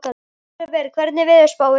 Ólíver, hvernig er veðurspáin?